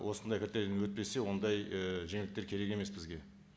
осындай критерийден өтпесе ондай і жеңілдіктер керек емес бізге